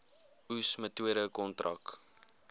oes metode kontrak